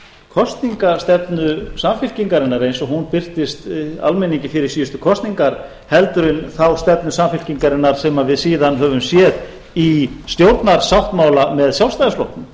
kosningastefnu samfylkingarinnar eins og hún birtist almenni fyrir síðustu kosningar heldur en þá stefnu samfylkingarinnar sem við síðan höfum séð í stjórnarsáttmála með sjálfstæðisflokknum